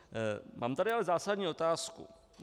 Mám tady ale zásadní otázku.